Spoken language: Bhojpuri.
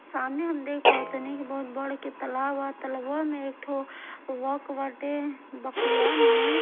सामने हम देख पावत तनी बहुत बड़े गो एगो तालाब बाटे तलबवा में--